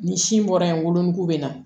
Ni sin bɔra yen wolonugu bɛ na